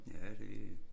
Ja det